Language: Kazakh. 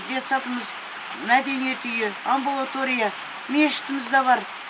детсадымыз мәдениет үйі амбулатория мешітіміз де бар